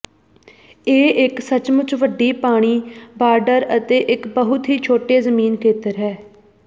ਇਹ ਇੱਕ ਸੱਚਮੁੱਚ ਵੱਡੀ ਪਾਣੀ ਬਾਰਡਰ ਅਤੇ ਇੱਕ ਬਹੁਤ ਹੀ ਛੋਟੇ ਜ਼ਮੀਨ ਖੇਤਰ ਹੈ